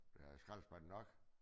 Der er skraldespande nok